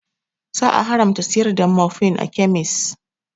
Za a haramta siyar da morfin a kemis